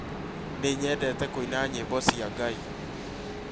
Nĩ nyendete kũina nyĩmbo cia Ngai